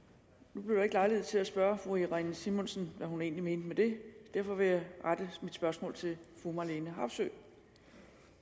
nu blev der ikke lejlighed til at spørge fru irene simonsen hvad hun egentlig mente med det derfor vil jeg rette mit spørgsmål til fru marlene harpsøe